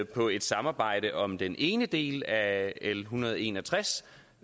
på et samarbejde om den ene del af l en hundrede og en og tres